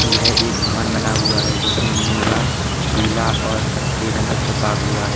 यह एक भवन बना हुआ है जिसमें नीला पीला और कत्थई रंग पोता हुआ है।